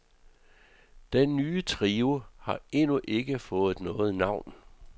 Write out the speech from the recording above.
Den nye trio har endnu ikke fået noget navn.